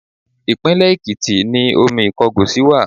Ìpínlẹ̀ Èkìtì ni omi Ìkọgòsì wà.